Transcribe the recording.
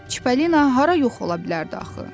Çipalina hara yox ola bilərdi axı?